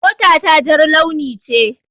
Mota ta jar launi ce.